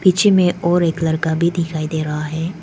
पीछे में और एक लड़का भी दिखाई दे रहा है।